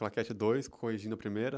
Claquete dois, corrigindo a primeira.